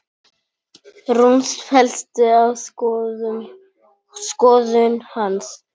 Rúna féllst á skoðun hans.